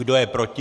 Kdo je proti?